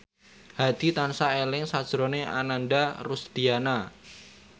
Hadi tansah eling sakjroning Ananda Rusdiana